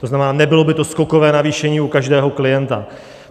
To znamená, nebylo by to skokové navýšení u každého klienta.